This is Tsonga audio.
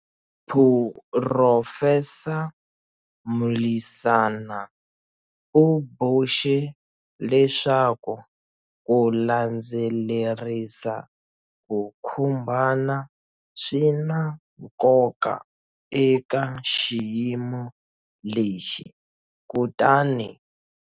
Phurofesa Mlisana u boxe leswaku ku landzelerisa ku khumbana swi na nkoka eka xiyimo lexi kutani.